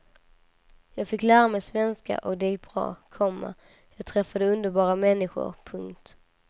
Jag fick lära mig svenska och det gick bra, komma jag träffade underbara människor. punkt